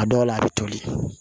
A dɔw la a bɛ toli